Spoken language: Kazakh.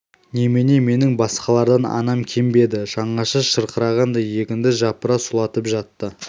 немене менің басқалардан анам кем бе еді жаңаша шырқағандай егінді жапыра сұлатып жатты